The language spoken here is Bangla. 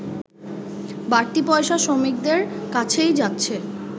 বাড়তি পয়সা শ্রমিকদের কাছেই যাচ্ছে